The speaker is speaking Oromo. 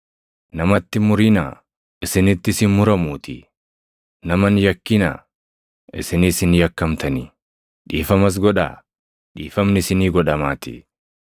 “Namatti hin murinaa; isinittis hin muramuutii. Nama hin yakkinaa; isinis hin yakkamtanii. Dhiifamas godhaa; dhiifamni isinii godhamaatii.